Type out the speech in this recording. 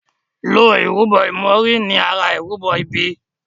ló ìrúbo imori ní àrà ìrúbo ibí.